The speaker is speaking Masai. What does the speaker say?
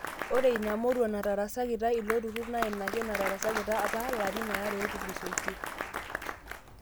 Ore inamurua natarasakita iloturur na ina ake natarasakita apa larin are otulusoitie.